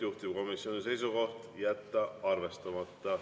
Juhtivkomisjoni seisukoht on jätta arvestamata.